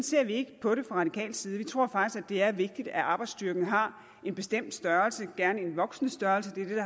ser vi ikke på det fra radikal side vi tror faktisk det er vigtigt at arbejdsstyrken har en bestemt størrelse gerne en voksen størrelse det er det